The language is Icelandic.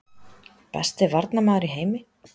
Besti varnarmaður í heimi?